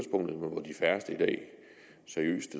færreste seriøst